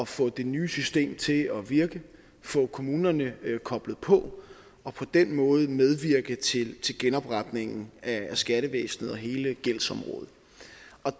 få det nye system til at virke få kommunerne koblet på og på den måde medvirke til genopretningen af skattevæsenet og hele gældsområdet